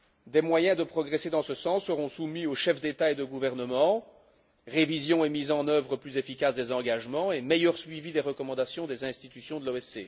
Des moyens de progresser dans ce sens seront soumis aux chefs d'État et de gouvernement révision et mise en œuvre plus efficace des engagements et meilleur suivi des recommandations des institutions de l'OSCE.